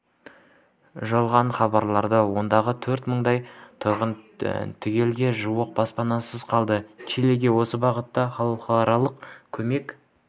жойылғанын хабарлады ондағы төрт мыңдай тұрғын түгелге жуық баспанасыз қалды чилиге осы бағатта халықаралық көмек